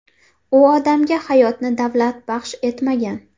U odamga hayotni davlat baxsh etmagan.